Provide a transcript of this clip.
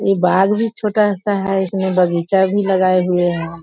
ये बाग़ भी छोटा सा है इसमें बगीचा भी लगाए हुए हैं।